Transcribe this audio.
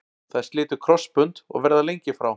Þær slitu krossbönd og verða lengi frá.